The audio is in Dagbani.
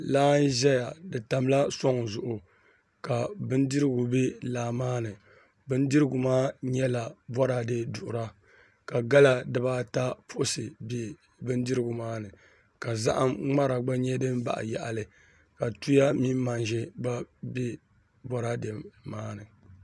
Laa n ʒɛya di tamla soŋ zuɣu ka bindirigu bɛ laa maa ni bindirigu maa nyɛla boraadɛ duɣura ka gala dibaata puɣusi bɛ bindirigu maa ni ka zaham ŋmara nyɛ din baɣa yaɣali ka tuya mini manʒa gba bɛ boraadɛ maa ni